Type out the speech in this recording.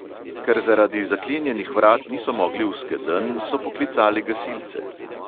Ker zaradi zaklenjenih vrat niso mogli v skedenj, so poklicali gasilce.